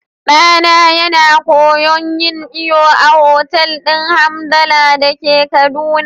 Ɗana yana koyon yin iyo a otal din Hamdalla dake kaduna.